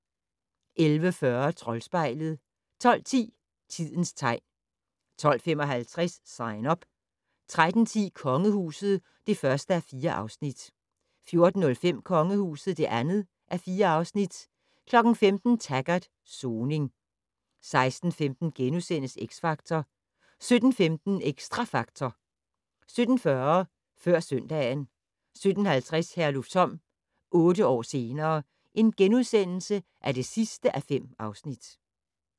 11:40: Troldspejlet 12:10: Tidens tegn 12:55: Sign Up 13:10: Kongehuset (1:4) 14:05: Kongehuset (2:4) 15:00: Taggart: Soning 16:15: X Factor * 17:15: Xtra Factor 17:40: Før søndagen 17:50: Herlufsholm - otte år senere ... (5:5)*